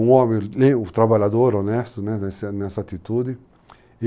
Um homem trabalhador, honesto, né, nessa atitude.